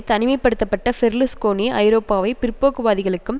தனிமை படுத்த பட்ட பெர்லுஸ்கோனி ஐரோப்பாவை பிற்போக்குவாதிகளுக்கும்